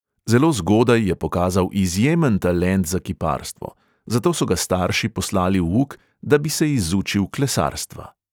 Zelo zgodaj je pokazal izjemen talent za kiparstvo, zato so ga starši poslali v uk, da bi se izučil klesarstva.